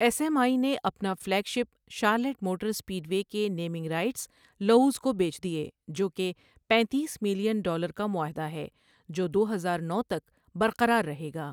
S M I نے اپنا flagship Charlotte motor speedway کے نیمنگ رائیٹس لوؤز کو بیچ دیے، جو کہ پینتیس ملین ڈالر کا معاہدہ ہے جو دو ہزار نو تک برقرار رہے گا ۔